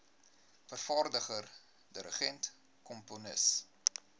vervaardiger dirigent komponis